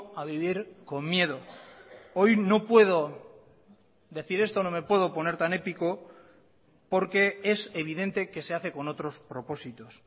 a vivir con miedo hoy no puedo decir esto no me puedo poner tan épico porque es evidente que se hace con otros propósitos